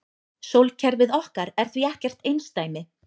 Sólkerfið okkar er því ekkert einsdæmi.